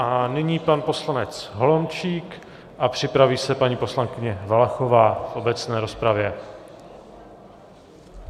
A nyní pan poslanec Holomčík a připraví se paní poslankyně Valachová v obecné rozpravě.